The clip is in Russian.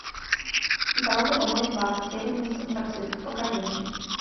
дорога домой два затерянные в сан франциско покажи мне